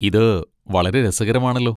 ഇത് വളരെ രസകരമാണല്ലോ.